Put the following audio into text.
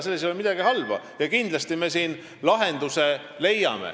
Selles ei ole midagi halba ja kindlasti me leiame siin lahenduse.